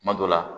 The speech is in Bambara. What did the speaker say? Kuma dɔ la